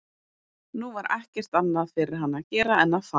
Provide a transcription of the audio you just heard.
Nú var ekkert annað fyrir hann að gera en að fara.